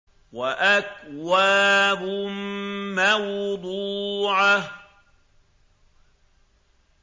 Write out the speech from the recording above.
وَأَكْوَابٌ مَّوْضُوعَةٌ